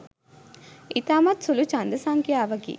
ඉතාමත්ම සුළු ජන්ද සංඛ්‍යාවකි